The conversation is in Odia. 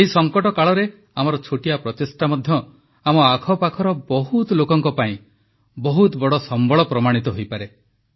ଏହି ସଙ୍କଟ କାଳରେ ଆମର ଛୋଟିଆ ପ୍ରଚେଷ୍ଟା ମଧ୍ୟ ଆମ ଆଖପାଖର ବହୁତ ଲୋକଙ୍କ ପାଇଁ ବହୁତ ବଡ଼ ସମ୍ବଳ ପ୍ରମାଣିତ ହୋଇପାରେ